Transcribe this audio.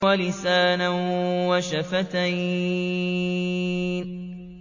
وَلِسَانًا وَشَفَتَيْنِ